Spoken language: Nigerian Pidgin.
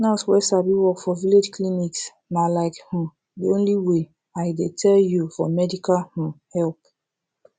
nurse wey sabi work for village clinics na like um de only way i dey tell you for medical um help